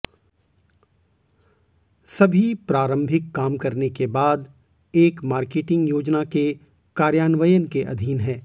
सभी प्रारंभिक काम करने के बाद एक मार्केटिंग योजना के कार्यान्वयन के अधीन है